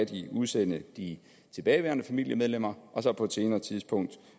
de udsende de tilbageværende familiemedlemmer og så på et senere tidspunkt